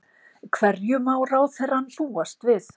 Hverju má ráðherrann búast við?